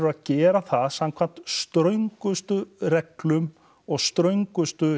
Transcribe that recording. að gera það samkvæmt ströngustu reglum og ströngustu